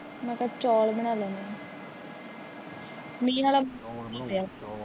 ਮੈ ਕਿਹਾ ਚੋਲ ਬਣਾ ਲੈਣੇ ਆ।